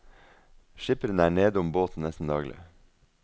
Skipperen er nedom båten nesten daglig.